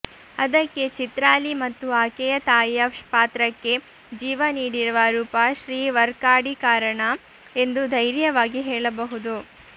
ಅದಕ್ಕೆ ಚಿತ್ರಾಲಿ ಮತ್ತು ಆಕೆಯ ತಾಯಿಯ ಪಾತ್ರಕ್ಕೆ ಜೀವ ನೀಡಿರುವ ರೂಪ ಶ್ರೀ ವರ್ಕಾಡಿ ಕಾರಣ ಎಂದು ಧೈರ್ಯವಾಗಿ ಹೇಳಬಹುದು